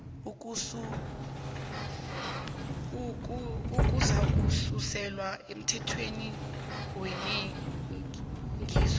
uzakususelwa emthelweni wengeniso